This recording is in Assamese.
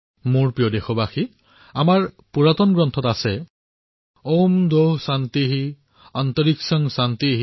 মোৰ মৰমৰ দেশবাসীসকল আমাৰ গ্ৰন্থসমূহত উল্লেখ আছেঃ